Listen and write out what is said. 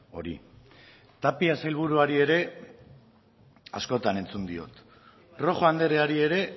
hori tapia sailburuari ere askotan entzun diot rojo andreari ere